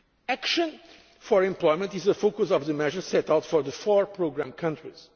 ICT sector. Action for employment is a focus of the measures set out for the four programme